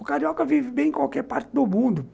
O carioca vive bem em qualquer parte do mundo.